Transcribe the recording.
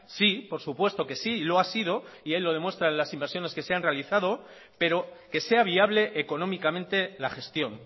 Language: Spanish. sí por supuesto que sí y lo ha sido y ahí lo demuestra en las inversiones que se han realizado pero que sea viable económicamente la gestión